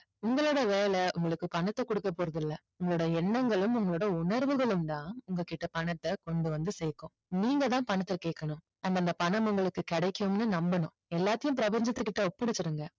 உங்களோட வேலை உங்களுக்கு பணத்தை கொடுக்க போறது இல்ல உங்களோட எண்ணங்களும் உங்களோட உணர்வுகளும் தான் உங்ககிட்ட பணத்தை கொண்டுவந்து சேர்க்கும் நீங்க தான் பணத்தை கேக்கணும் அந்த பணம் உங்களுக்கு கிடைக்கும்னு நம்பணும் எல்லாத்தையும் பிரபஞ்சத்துக்கிட்ட ஒப்படைச்சிருங்க